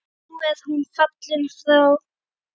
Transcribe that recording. Nú er hún fallin frá.